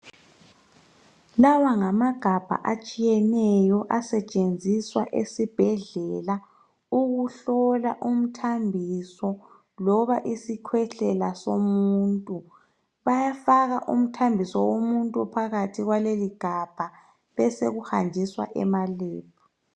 Lawa ngamagabha atshiyeneyo asetshenziswa esibhedlela ukuhlola umthambiso loba isikhwehlela somuntu. Bayafaka umthambiso womuntu phakathi kwaleli gabha besekuhanjiswa emalebhu.